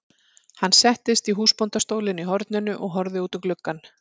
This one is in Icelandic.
Hann settist í húsbóndastólinn í horninu og horfði út um gluggann.